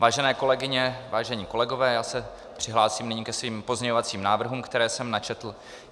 Vážené kolegyně, vážení kolegové, já se přihlásím nyní ke svým pozměňovacím návrhům, které jsem načetl.